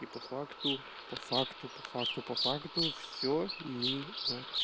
и по факту по факту по факту по факту всё мимо